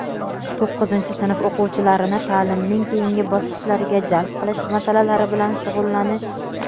to‘qqizinchi sinf o‘quvchilarini taʼlimning keyingi bosqichlariga jalb qilish masalalari bilan shug‘ullanish;.